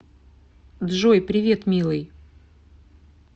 джой привет милый